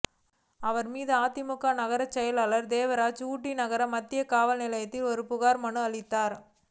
இவர் மீது அதிமுக நகரச் செயலாளர் தேவராஜ் ஊட்டி நகர மத்திய காவல் நிலையத்தில் ஒரு புகார் மனு அளித்தார்